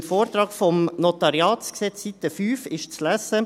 – Im Vortrag zum NG auf Seite 6 ist zu lesen: